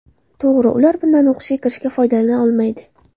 To‘g‘ri, ular bundan o‘qishga kirishga foydalana olmaydi.